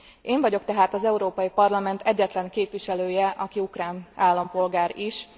Én vagyok tehát az Európai Parlament egyetlen képviselője, aki ukrán állampolgár is.